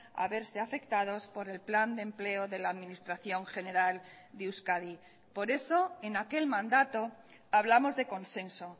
a verse afectados por el plan de empleo de la administración general de euskadi por eso en aquel mandato hablamos de consenso